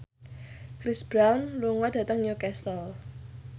Chris Brown lunga dhateng Newcastle